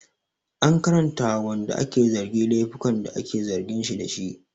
An karanta wa wanda ake zargi laifukan da ake zargin shi dashi